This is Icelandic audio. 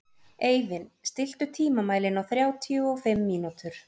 Eivin, stilltu tímamælinn á þrjátíu og fimm mínútur.